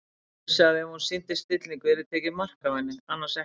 Hún vissi að ef hún sýndi stillingu yrði tekið mark á henni- annars ekki.